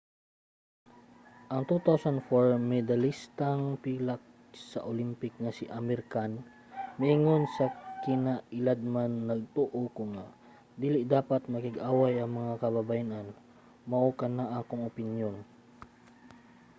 ang 2004 medalistang pilak sa olympic nga si amir khan miingon sa kinailadman nagtoo ko nga dili dapat makig-away ang mga kababayen-an. mao kana ang akong opinyon.